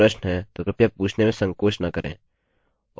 यदि आपके पास कोई प्रश्न है तो कृपया पूछने में संकोच न करें